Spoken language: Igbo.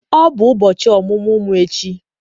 Ọ bụ ụbọchị ọmụmụ m echi.